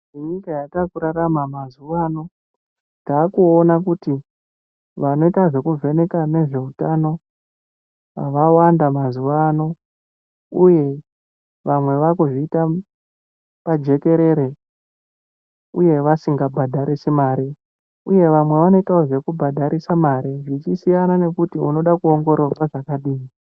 Nenyika yatakurarama mazuwano takuona kuti vanoita zvekuvheneka nezveutano vawanda mazuwank uye vamwe vakuzviita pajekerere uye vasingabhadharisi mare uye vamwe vanoitawo zvekubhadharisa mare zvichisiyana kuti unoda kuwongororwa zvakadini.